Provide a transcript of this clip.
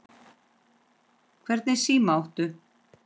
Hvernig síma áttu?